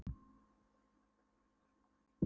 Lágur kjallari með kartöflugeymslu og kolastíu.